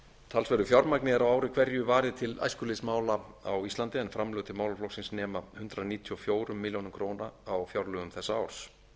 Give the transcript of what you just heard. talsverðu fjármagni er á ári hverju varið til æskulýðsmála á íslandi en framlög til málaflokksins nema hundrað níutíu og fjórar milljónir ár fjárlögum þessa árs